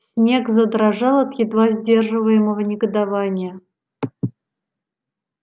снегг задрожал от едва сдерживаемого негодования